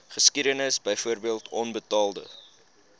geskiedenis byvoorbeeld onbetaalde